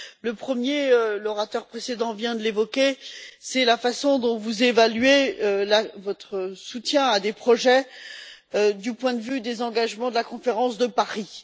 Le premier, l'orateur précédent vient de l'évoquer, c'est la façon dont vous évaluez votre soutien à des projets du point de vue des engagements de la conférence de Paris.